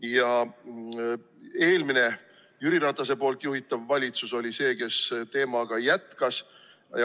Ja eelmine Jüri Ratase juhitud valitsus oli see, kes teemaga jätkas.